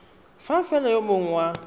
fa fela yo mongwe wa